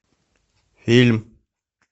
фильм